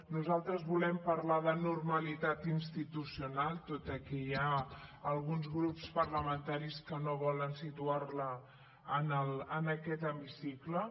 nosaltres volem parlar de normalitat institucional tot i que hi ha alguns grups parlamentaris que no volen situar la en aquest hemicicle